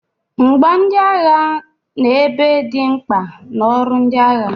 Mgboagha na egbe dị mkpa na ọrụ ndị agha